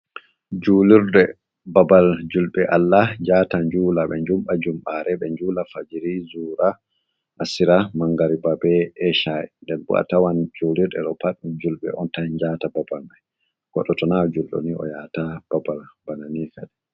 Julirde babal julɓe Allah njata njula ɓe njumba jumbare, be njula fajiri zura asira mangari babe eshai, nden bo a tawan julirde ɗo fa julɓe on tan njata babal mai, godɗo tona julɗo ni o yata babal bana ni kad.